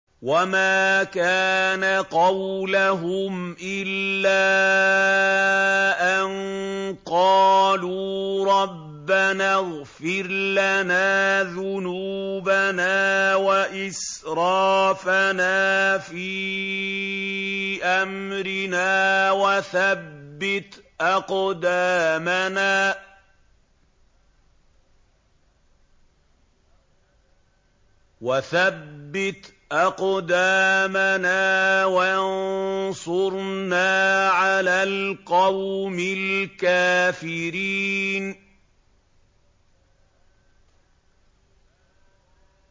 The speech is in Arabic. وَمَا كَانَ قَوْلَهُمْ إِلَّا أَن قَالُوا رَبَّنَا اغْفِرْ لَنَا ذُنُوبَنَا وَإِسْرَافَنَا فِي أَمْرِنَا وَثَبِّتْ أَقْدَامَنَا وَانصُرْنَا عَلَى الْقَوْمِ الْكَافِرِينَ